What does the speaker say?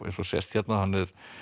eins og sést hérna hann